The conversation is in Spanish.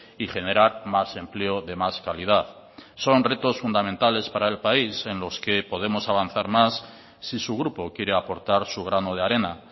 y generar más empleo de más calidad son retos fundamentales para el país en los que podemos avanzar más si su grupo quiere aportar su grano de arena